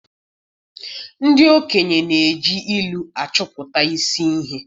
Ndị okenye na-eji ilu achụpụ isi ihe